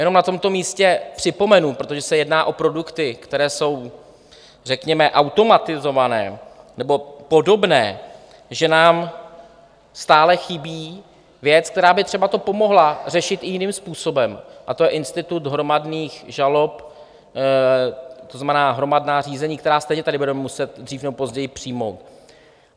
Jenom na tomto místě připomenu, protože se jedná o produkty, které jsou řekněme automatizované nebo podobné, že nám stále chybí věc, která by třeba to pomohla řešit i jiným způsobem, a to je institut hromadných žalob, to znamená hromadná řízení, která stejně tady budeme muset dřív nebo později přijmout.